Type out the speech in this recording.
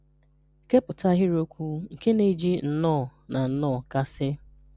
Kèpụ̀tà ahịrị́okwù nké na-ejì nnọọ̀ na nnọọ̀ kàsị̀